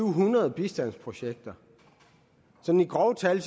hundrede bistandsprojekter sådan i grove tal